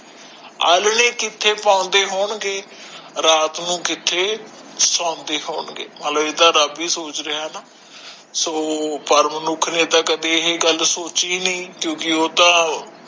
ਆਲ੍ਹਣੇ ਕਿੱਥੇ ਪੌਂਦੇ ਹੋਣ ਗੇ ਰਾਤ ਨੂੰ ਕਿੱਥੇ ਸੋਂਦੇ ਹੋਣ ਗੇ ਮਾਲ ਲੋ ਏਹ ਤਾ ਰੱਬ ਭੀ ਸੋਚ ਰਿਹਾ ਨਾ ਸੋ ਪ੍ਰਮਨੁਕ ਨੇ ਤਾ ਕਦੇ ਏਹ ਗੱਲ ਸੋਚੀ ਹੀ ਨਹੀਂ ਕਿਉਕਿ ਓ ਤਾ